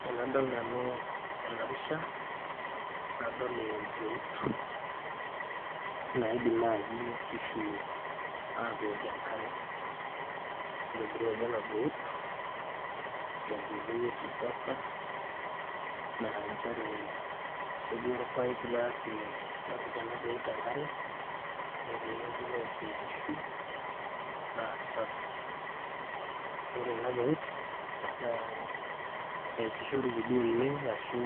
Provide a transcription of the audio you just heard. Tenadol nanu ena pisha nadol empeut naidim naaji inkishu atookie enkare nitobiruaki ena peut tenkoitoi e kisasa naa nchere ketii orpaipi loyaki lopik ena peut enkare netii ewueji neokie inkishu naa sapi ore ena peut naa eesishoreki duo oleng arashu